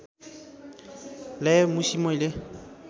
ल्यायो मुसि मैले